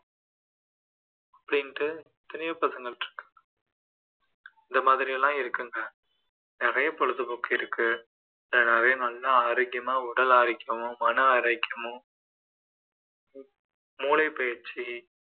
அப்படீன்னு எத்தனையோ பசங்க இருக்காங்க இந்தமாதிரி எல்லாம் இருக்குங்க நிறைய பொழுது போக்கு இருக்குநிறைய ந்ல்லா ஆரோக்கியமா உடல் ஆரோக்கியமும் மன ஆரோக்கியமும் மூளை பயிற்சி